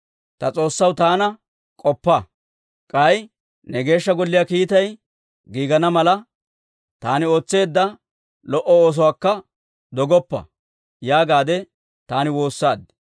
«Ta S'oossaw taana k'oppa; k'ay ne Geeshsha Golliyaa kiittay giigana mala, taani ootseedda lo"o oosuwaakka dogoppa» yaagaade taani woossaad.